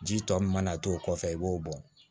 Ji tɔ min mana to o kɔfɛ i b'o bɔ